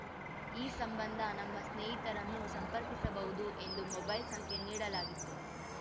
ಈ ಸಂಬಂಧ ನಮ್ಮ ಸ್ನೇಹಿತರನ್ನು ಸಂಪರ್ಕಿಸಬಹುದು ಎಂದು ಮೊಬೈಲ್‌ ಸಂಖ್ಯೆ ನೀಡಲಾಗಿತ್ತು